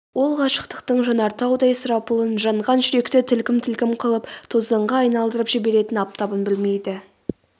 ол ғашықтықтың жанартаудай сұрапылын жанған жүректі тілкім-тілкім қылып тозаңға айналдырып жіберетін аптабын білмейді